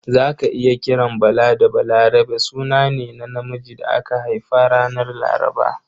Za ka iya kiran Bala da Balarabe suna ne na namiji da aka haifa ranar Laraba.